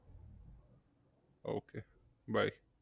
Okay bye